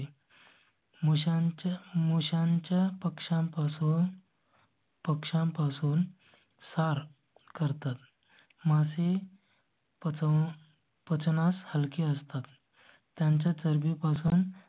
मुश्यांच्या motion च्या पक्षां पासून. पक्षां पासून सार करतात मासे. पासून पचनास हलकी असतात. त्यांच्या चरबी पासून